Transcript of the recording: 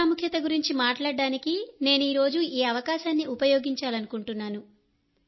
విద్య ప్రాముఖ్యత గురించి మాట్లాడటానికి నేను ఈ రోజు ఈ అవకాశాన్ని ఉపయోగించాలనుకుంటున్నాను